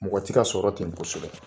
Mɔgɔ tɛ ka sɔrɔ ten kosɛbɛ.